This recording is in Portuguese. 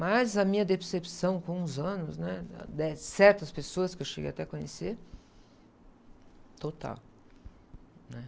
Mas a minha decepção com os anos, né, de certas pessoas que eu cheguei até a conhecer, total, né?